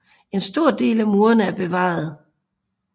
En stor del af murene er bevaret